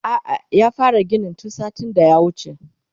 a'a ya fara ginin tun satin da ya wuce